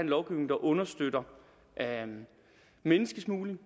lovgivning der understøtter menneskesmugling